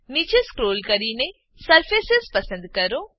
નીચે સ્ક્રોલ કરીને સરફેસ પસંદ કરો